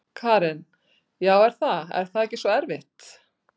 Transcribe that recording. Karen: Já er það, er það ekki svo erfitt?